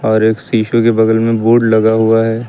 और एक शिफे के बगल में बोर्ड लगा हुआ है।